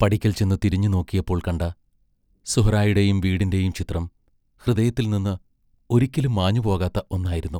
പടിക്കൽ ചെന്നു തിരിഞ്ഞുനോക്കിയപ്പോൾ കണ്ട സുഹ്റായുടെയും വീടിന്റെയും ചിത്രം ഹൃദയത്തിൽ നിന്ന് ഒരിക്കലും മാഞ്ഞുപോകാത്ത ഒന്നായിരുന്നു.